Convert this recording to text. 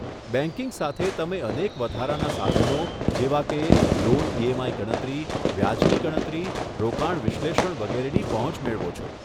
banking સાથે, તમે અનેક વધારાના સાધનો, જેવા કે લોન ઈએમઆઈ ગણતરી, વ્યાજની ગણતરી, રોકાણ વિશ્લેષણ વગેરેની પહોંચ મેળવો છો